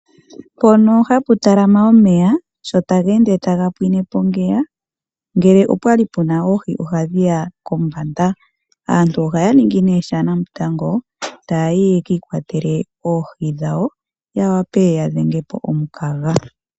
Mpono hapu talama omeya sho ta geende taga pwine po ngeya ngele opwali puna oohi ohadhiya kombanda . Aantu ohaya ningi nee shanamutango taya yi yekiikwatele oohi dhawo ya vule ya dhenge po omukaga.